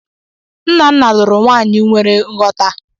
Nnanna luru nwanyi nwere ghọta.